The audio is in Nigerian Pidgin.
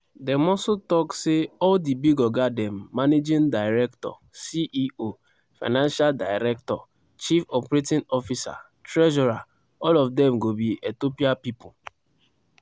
dem also tok say all di big oga dem managing director ceo financial director chief operating officer treasurer all of dem go be ethiopia pipo.